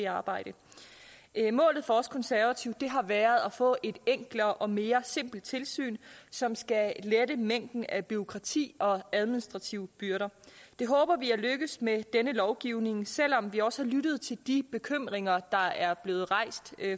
arbejde målet for os konservative har været at få et enklere og mere simpelt tilsyn som skal lette mængden af bureaukrati og administrative byrder det håber vi er lykkedes med denne lovgivning selv om vi også har lyttet til de bekymringer der er blevet rejst